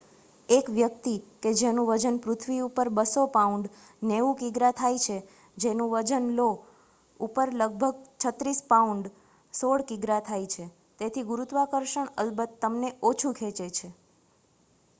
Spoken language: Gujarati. એક વ્યક્તિ કે જેનું વજન પૃથ્વી ઉપર 200 પાઉન્ડસ 90 કિગ્રા થાય છે તેનું વજન લો ઉપર લગભગ 36 પાઉન્ડસ 16 કિગ્રા થાય છે. તેથી ગુરુત્વાકર્ષણ અલબત તમને ઓછું ખેંચે છે